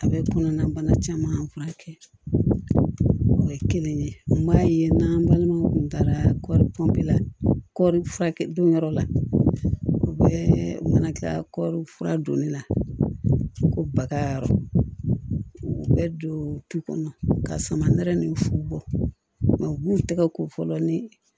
A bɛ kɔnɔna bana caman kɛ o ye kelen ye n b'a ye n'an balimaw tun taara pɔnpe lafiya don yɔrɔ la u bɛ mana kila kɔɔri fura don ne la ko bagayɔrɔ bɛɛ don du kɔnɔ ka sama nɛrɛ ni fu bɔ u b'u tɛgɛ ko fɔlɔ ni